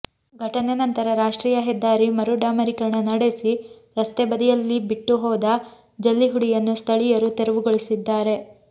ಘಟನೆ ನಂತರ ರಾಷ್ಟ್ರೀಯ ಹೆದ್ದಾರಿ ಮರು ಡಾಮರೀಕರಣ ನಡೆಸಿ ರಸ್ತೆ ಬದಿಯಲ್ಲಿಬಿಟ್ಟು ಹೋದ ಜಲ್ಲಿಹುಡಿಯನ್ನು ಸ್ಥಳೀಯರು ತೆರವುಗೊಳಿಸಿದ್ದಾರೆ